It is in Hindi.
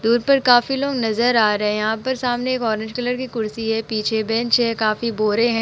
दूर पर काफी लोग नजर आ रहे यहाँ पर सामने एक ऑरेंज कलर की कुर्सी है। पीछे बेंच है। काफी बोरे है।